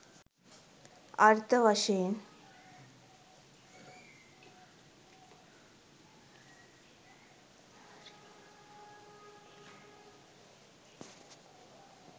අර්ථ වශයෙන්